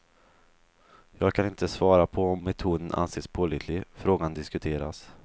Jag kan inte svara på om metoden anses pålitlig, frågan diskuteras.